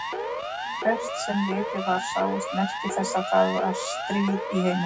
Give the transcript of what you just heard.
Hvert sem litið var sáust merki þess að það var stríð í heiminum.